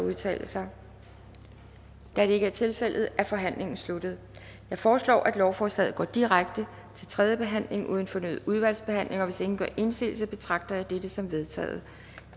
at udtale sig da det ikke er tilfældet er forhandlingen sluttet jeg foreslår at lovforslaget går direkte til tredje behandling uden fornyet udvalgsbehandling hvis ingen gør indsigelse betragter jeg dette som vedtaget